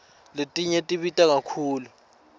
letinye tibita kakhulu